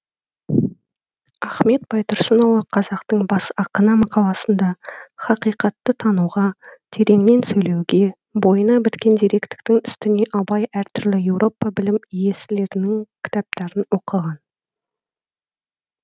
ахмет байтұрсынұлы қазақтың бас ақыны мақаласында хақиқатты тануға тереңнен сөйлеуге бойына біткен зеректіктің үстіне абай әртүрлі еуропа білім иесілерінің кітаптарын оқыған